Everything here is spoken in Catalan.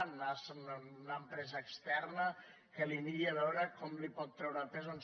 anar se’n a una empresa externa que li miri a veure com li pot treure pes en